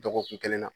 Dɔgɔkun kelen na